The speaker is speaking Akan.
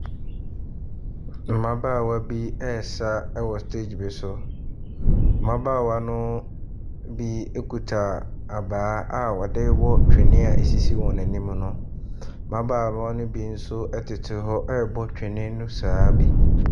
Mmabaawa bi resa wɔ stage bi so. Mmabaawa no bi ekuta abaa a wɔde bɔ kyenee a esisi wɔn anim no. Mmabaawa no bi nso tete hɔ rebɔ twene no saa ara bi.